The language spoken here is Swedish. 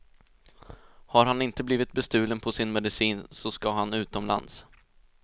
Har han inte blivit bestulen på sin medicin så ska han utomlands.